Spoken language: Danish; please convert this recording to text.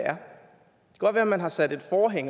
godt være man har sat et forhæng